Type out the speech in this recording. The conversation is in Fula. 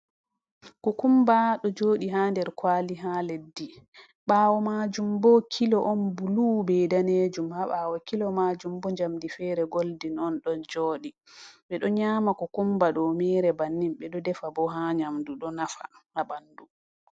Ku kumba ɗo joɗi ha der kwali ha leddi, bawo majum bo kilo on bulu bei danejum, ha bawo kilo majum bo jamdi fere goldin on ɗon joɗi, ɓe ɗo nyama ku kumba ɗo mere bannin, ɓe ɗo defa bo ha nyamdu ɗo nafa ha bandu.